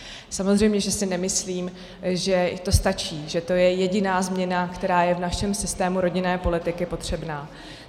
Samozřejmě že si nemyslím, že to stačí, že to je jediná změna, která je v našem systému rodinné politiky potřebná.